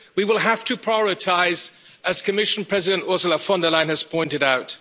We will have to prioritise, as Commission President, Ursula von der Leyen, has pointed out.